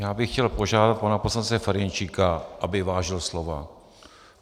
Já bych chtěl požádat pana poslance Ferjenčíka, aby vážil slova.